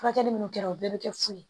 Furakɛli minnu kɛra o bɛɛ bɛ kɛ fu ye